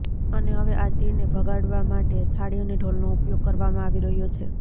અને હવે આ તીડને ભગાડવા માટે થાળી અને ઢોલનો ઉપયોગ કરવામાં આવી રહ્યો છે